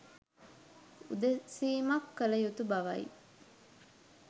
උදෙසීමක් කළ යුතු බවයි